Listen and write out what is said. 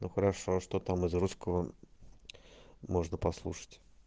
ну хорошо а что там из русского можно послушать